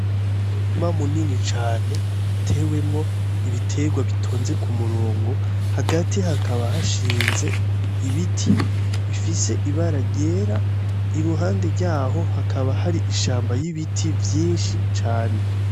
Umurima munini cane utewemo ibiterwa bitonze ku murongo hagati hakaba hashinze ibiti bifise ibara ryera iruhande yaho hakaba hari ishamba ry'ibiti vyishi cane.